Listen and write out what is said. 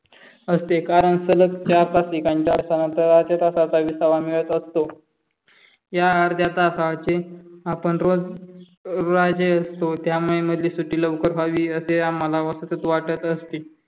पासून मधली सुट्टी वावी कधी होणार याकडे आमचे लक्ष लागलेले असते कारण सलग चार-पाच ठिकाणांच्या असेच असतात विसावा मिळत असतो या अर्ध्या तासाचे आपण रोज राजे असतो त्यामुळे मधली सुट्टी लवकर व्हावी असे आम्हाला वाटतच वाटत असते.